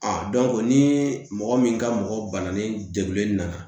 ni mɔgɔ min ka mɔgɔ bananen degunnen nana